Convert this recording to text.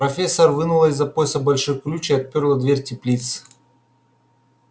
профессор вынула из-за пояса большой ключ и отпёрла дверь теплицы